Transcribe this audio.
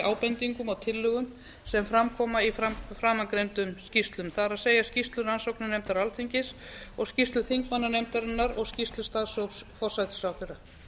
ábendingum og tillögum sem fram koma í framangreindum skýrslum það er skýrslu rannsóknarnefndar alþingis og skýrslu þingmannanefndarinnar og skýrslu starfshóps forsætisráðherra